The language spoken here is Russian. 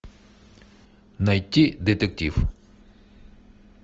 найти детектив